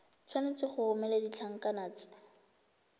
tshwanetse go romela ditlankana tse